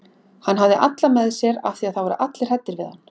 Hann hafði alla með sér af því að það voru allir hræddir við hann.